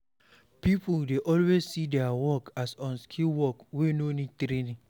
People dey always see their work as unskilled work wey no need training